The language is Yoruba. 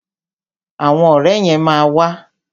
Àwọn ọ̀rẹ́ yẹn ma wà.